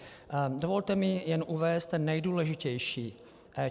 Dovolte mi jen uvést ten nejdůležitější.